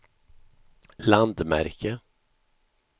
landmärke